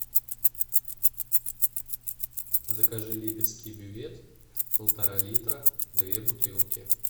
закажи липецкий бювет полтора литра две бутылки